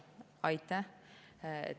Aitäh!